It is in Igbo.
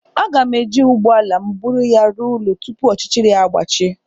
A ga m e ji ụgbọala m búrú ya rụọ ụlọ tupu ọchịchịrị àgbàchie